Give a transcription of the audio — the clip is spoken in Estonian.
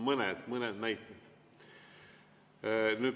Mõned näited.